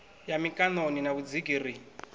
ya mikaṋoni na vhudziki ri